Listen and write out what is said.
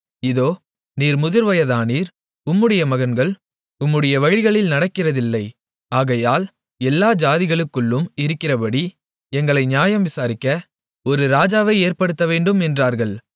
இதோ நீர் முதிர்வயதானீர் உம்முடைய மகன்கள் உம்முடைய வழிகளில் நடக்கிறதில்லை ஆகையால் எல்லா ஜாதிகளுக்குள்ளும் இருக்கிறபடி எங்களை நியாயம் விசாரிக்க ஒரு ராஜாவை ஏற்படுத்தவேண்டும் என்றார்கள்